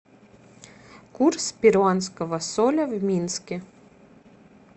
курс перуанского соля в минске